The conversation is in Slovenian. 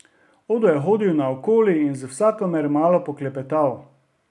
Odo je hodil naokoli in z vsakomer malo poklepetal.